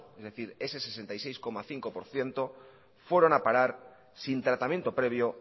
es decir ese sesenta y seis coma cinco por ciento fueron a parar sin tratamiento previo